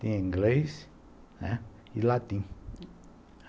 Tinha inglês, né, e latim.